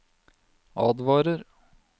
advarer